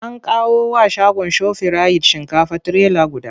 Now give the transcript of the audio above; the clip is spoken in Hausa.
An kawo wa shagon Shofirayit shinkafa trailer guda.